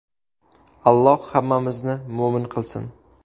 Alloh hammamizni mo‘min qilsin.